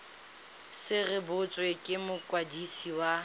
se rebotswe ke mokwadisi wa